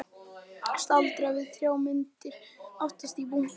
Staldraði við þrjár myndir aftast í bunkanum.